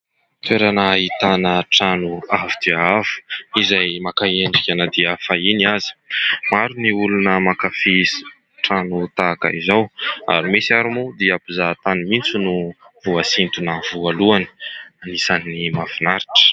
Toerana ahitana trano avo dia avo, izay maka endrika na dia fahiny aza. Maro ny olona mankafia trano tahaka izao ary misy ary moa dia mpizahatany mihitsy no voasintona voalohany ; isan'ny mafinaritra.